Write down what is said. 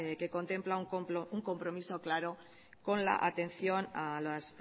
que contempla un compromiso claro con la atención a las